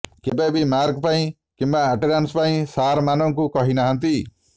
କେବେ ବି ମାର୍କ ପାଇଁ କିମ୍ବା ଆଟେଣ୍ଡାସ୍ ପାଇଁ ସାର୍ମାନଙ୍କୁ କହି ନାହାନ୍ତି